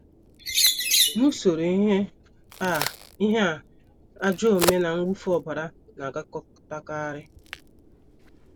N’usoro ihe a, ihe a, ajọ omume na mwụfu ọbara na - agakọtakarị.